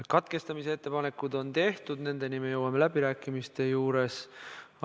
Katkestamise ettepanekud on tehtud, nendeni me jõuame läbirääkimiste juures.